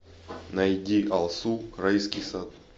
найди алсу райский сад